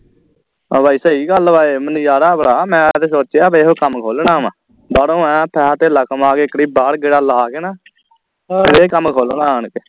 ਆ ਬਈ ਸਹੀ ਗੱਲ ਵਾ ਇਹ ਮੈਨੂੰ ਯਾਦ ਆ ਬੜਾ ਮੈਂ ਤੇ ਸੋਚਿਆ ਇਹੋ ਕੰਮ ਖੋਲ੍ਹਣਾ ਵਾ ਬਾਹਰੋਂ ਆਇਆ ਪੇਹਾ ਧੇਲਾ ਕਮਾ ਕੇ ਇਕ ਵਾਰੀ ਬਾਹਰ ਗੇੜਾ ਲੈ ਕੇ ਨਾ ਇਹ ਕੰਮ ਖੋਲ੍ਹਣਾ ਆਣ ਕੇ